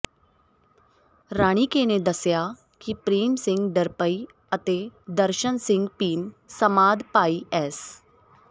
ਰਾਣੀਕੇ ਨੇ ਦੱਸਿਆ ਕਿ ਪ੍ਰੇਮ ਸਿੰਘ ਢਰਪਈ ਅਤੇ ਦਰਸ਼ਨ ਸਿੰਘ ਭੀਮ ਸਮਾਧ ਭਾਈ ਐਸ